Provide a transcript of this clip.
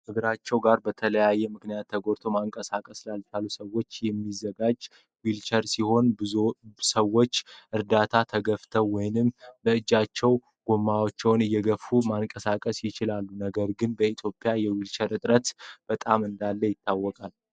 እግራቸው ጋር በተለያየ ምክንያት ተጎድተው ማንቀሳቀስ ላልቻሉ ሰዎች የሚዘጋጅ ዊልቸር ሲሆን ።በሰው እርዳታ ተገፍተው ወይም በእጃቸው ጎማውን እየገፋ ማንቀሳቀስ ይችላል ። ነገር ግን በኢትዮጵያ የዊልቸር እጥረት በጣም እንዳለ ይታወቃል።